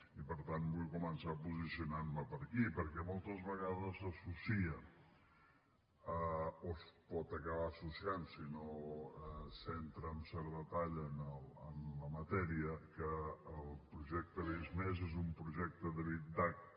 i per tant vull començar posicionant me per aquí perquè moltes vegades s’associa o es pot acabar associant si no s’entra en cert detall en la matèria que el projecte visc+ és un projecte de big datadata